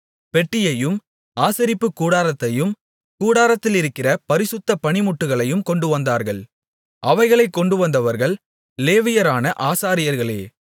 பெட்டியையும் ஆசரிப்புக் கூடாரத்தையும் கூடாரத்திலிருக்கிற பரிசுத்த பணிமுட்டுகளையும் கொண்டுவந்தார்கள் அவைகளைக் கொண்டுவந்தவர்கள் லேவியரான ஆசாரியர்களே